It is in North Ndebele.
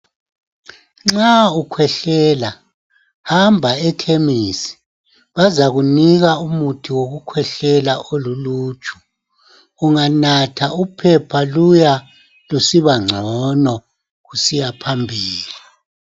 Nxa ukhwehlela hamba ekhemisi. Bazakunika umuthi wokukhwehlela oluluju .Unganatha uphepha luya lusiba ngcono kusiya phambili .